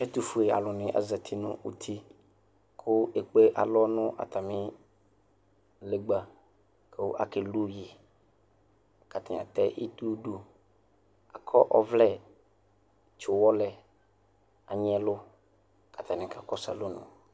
ɛtʋƒʋɛ alʋ azati nʋ ʋti kʋ ɛkpè alɔ nʋ atami lɛgba kʋ akɛ lʋyi, kʋatani atɛ itɔ dʋ akɔ ɔvlɛ tsi ɔwɔ lɛ, anyi ɛlʋ ka atani kakɔsʋ alɔnʋ